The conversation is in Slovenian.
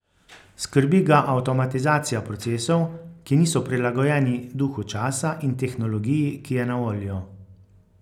Skrbi ga avtomatizacija procesov, ki niso prilagojeni duhu časa in tehnologiji, ki je na voljo.